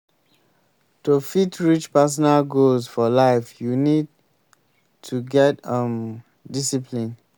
to fit reach personal goals for life you need to get um discipline